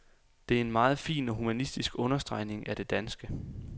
Det er en meget fin og humanistisk understregning af det danske.